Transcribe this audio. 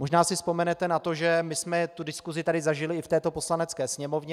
Možná si vzpomenete na to, že my jsme tu diskusi tady zažili i v této Poslanecké sněmovně.